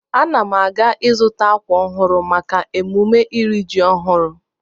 Ana m aga izu akwa ọhụrụ maka emume iri ji ọhụrụ.